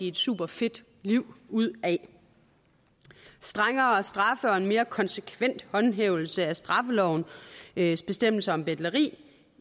et superfedt liv ud af det strengere straffe og en mere konsekvent håndhævelse af straffelovens bestemmelser om betleri